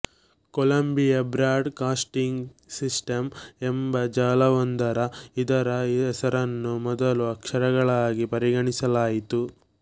Colombia broadcasting system ಎಂಬ ಜಾಲವೊಂದರ ಇದರ ಹೆಸರನ್ನು ಮೊದಲ ಅಕ್ಷರಗಳಾಗಿ ಪರಿಗಣಿಸಲಾಯಿತು